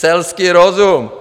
Selský rozum!